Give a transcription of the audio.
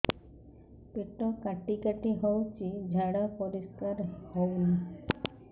ପେଟ କାଟି କାଟି ହଉଚି ଝାଡା ପରିସ୍କାର ହଉନି